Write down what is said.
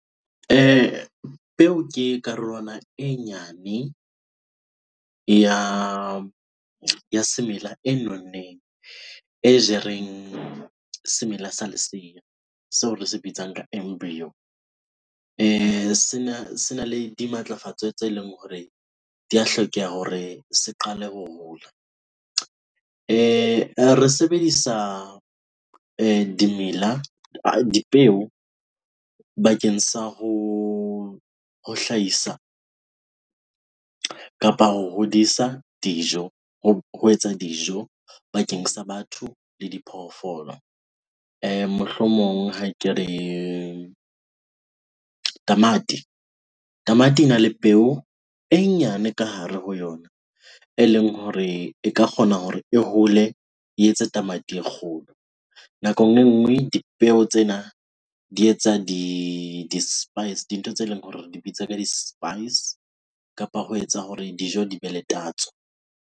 Peo ke karolwana e nyane ya semela e nonneng, e jereng semela sa lesea seo re se bitsang ka embryo. Sena le dimatlafatswa tse leng hore di a hlokeha hore se qale ho hola. Re sebedisa dimela, dipeo bakeng sa ho ho hlahisa kapa ho hodisa dijo, ho etsa dijo bakeng sa batho le diphoofolo. Mohlomong ha ke re tamati. Tamati ena le peo e nyane ka hare ho yona eleng hore e ka kgona hore e hole e etse tamati e kgolo. Nakong e nngwe dipeo tsena di etsa di-spice, dintho tse leng hore re di bitsa ka di-spice kapa ho etsa hore dijo di be le tatso.